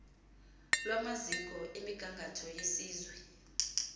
lwamaziko emigangatho yesizwe